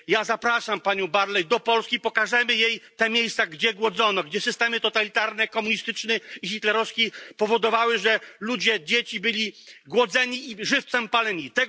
Zapraszam panią Barley do Polski pokażemy jej te miejsca, gdzie głodzono, gdzie systemy totalitarne komunistyczny i hitlerowski powodowały, że ludzie, dzieci byli głodzeni i żywcem paleni.